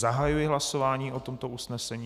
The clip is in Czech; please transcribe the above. Zahajuji hlasování o tomto usnesení.